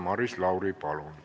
Maris Lauri, palun!